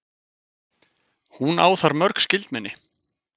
Hún á þar mörg skyldmenni.